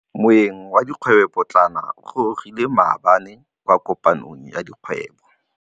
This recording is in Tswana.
Moêng wa dikgwêbô pôtlana o gorogile maabane kwa kopanong ya dikgwêbô.